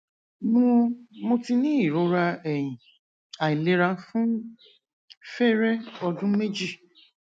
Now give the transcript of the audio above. mo mo ti ní irora ẹyin ailera fun fere ọdun meji